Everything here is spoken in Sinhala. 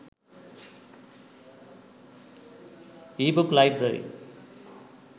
ebooks library